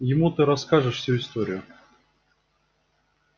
ему ты расскажешь всю историю